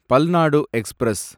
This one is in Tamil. பல்நாடு எக்ஸ்பிரஸ்